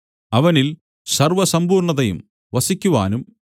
അവനിൽ സർവ്വസമ്പൂർണ്ണതയും വസിക്കുവാനും